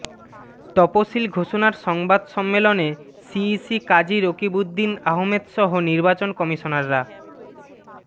তফসিল ঘোষণার সংবাদ সম্মেলনে সিইসি কাজী রকিবউদ্দীন আহমদসহ নির্বাচন কমিশনাররা